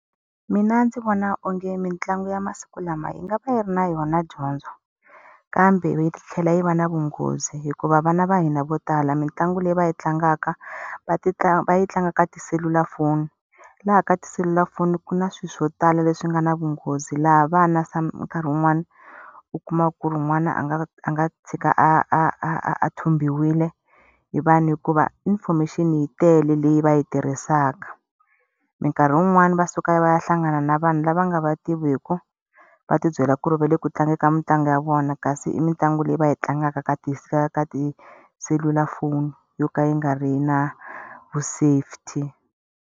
Mina ndzi vona onge mitlangu ya masiku lama yi nga va yi ri na yona dyondzo, kambe yi tlhela yi va na vunghozi hikuva vana va hina vo tala mitlangu leyi va yi tlangaka va va yi tlanga ka tiselulafoni. Laha ka tiselulafoni ku na swilo swo tala leswi nga na vunghozi, laha vana nkarhi wun'wana u kuma ku ri n'wana a nga a nga tshika a a a thumbiwile hi vanhu hikuva information yi tele leyi va yi tirhisaka. Mikarhi yin'wani va suka va ya hlangana na vanhu lava nga va tiviku, va ti byela ku ri va le ku tlangeni ka mitlangu ya vona kasi i mitlangu leyi va yi tlangaka ka ka tiselulafoni yo ka yi nga ri na vu safety.